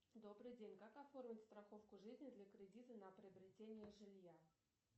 добрый день как оформить страховку жизни для кредита на приобретение жилья